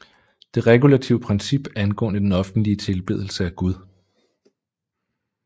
Det regulative princip angående den offentlige tilbedelse af Gud